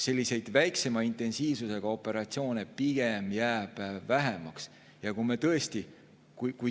Selliseid väiksema intensiivsusega operatsioone jääb pigem vähemaks.